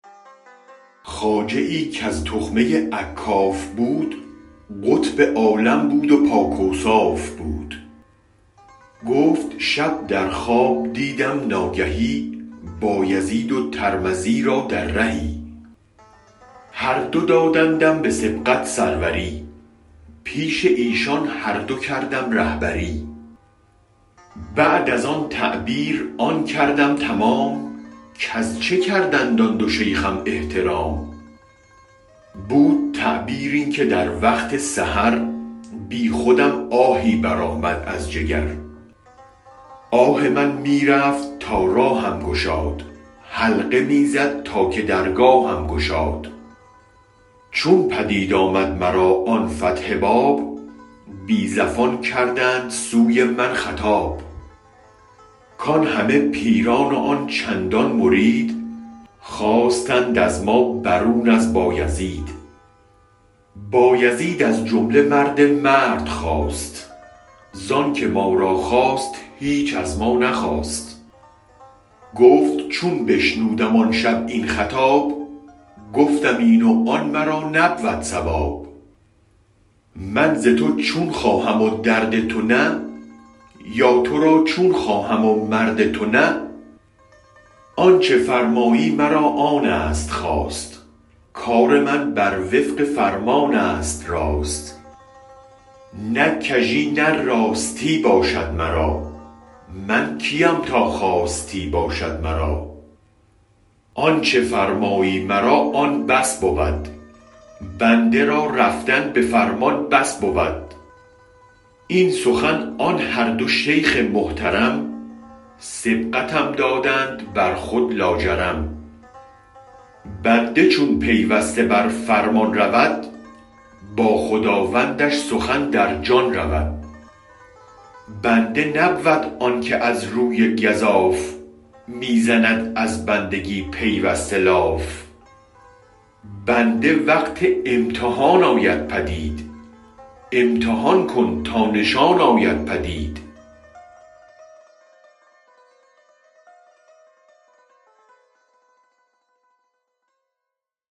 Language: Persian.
خواجه ای کز تخمه اکاف بود قطب عالم بود و پاک اوصاف بود گفت شب در خواب دیدم ناگهی بایزید و ترمدی را در رهی هر دو دادندم به سبقت سروری پیش ایشان هر دو کردم رهبری بعد از آن تعبیر آن کردم تمام کز چه کردند آن دو شیخم احترام بود تعبیر این که در وقت سحر بی خودم آهی برآمد از جگر آه من می رفت تا راهم گشاد حلقه می زد تا که درگاهم گشاد چون پدید آمد مرا آن فتح باب بی زفان کردند سوی من خطاب کان همه پیران و آن چندان مرید خواستند از ما برون از بایزید بایزید از جمله مرد مرد خاست زانک ما را خواست هیچ از ما نخواست گفت چون بشنودم آن شب این خطاب گفتم این و آن مرا نبود صواب من ز تو چون خواهم و درد تو نه یا ترا چون خواهم و مرد تو نه آنچ فرمایی مرا آنست خواست کار من بر وفق فرمانست راست نه کژی نه راستی باشد مرا من کیم تا خواستی باشد مرا آنچ فرمایی مرا آن بس بود بنده ای را رفتن به فرمان بس بود این سخن آن هر دو شیخ محترم سبقتم دادند برخود لاجرم بنده چون پیوسته بر فرمان رود با خداوندش سخن در جان رود بنده نبود آنک از روی گزاف می زند از بندگی پیوسته لاف بنده وقت امتحان آید پدید امتحان کن تا نشان آید پدید